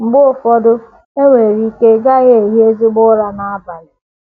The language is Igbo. Mgbe ụfọdụ, e nwere ike ị gaghị ehi ezigbo ụra n’abalị.